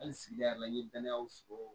Hali sigida la n ye danayaw sɔrɔ